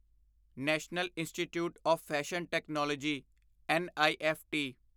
national institute of fashion technology NIFT